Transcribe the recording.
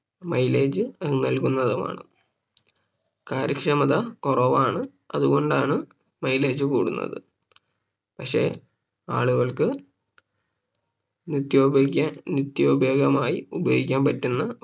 Milage നൽകുന്നതുമാണ് കാര്യക്ഷമത കുറവാണ് അതുകൊണ്ടാണ് Mileage കൂടുന്നത് പക്ഷേ ആളുകൾക്ക് നിത്യോപയോഗിക്ക നിത്യോപയോഗമായി ഉപയോഗിക്കാൻ പറ്റുന്ന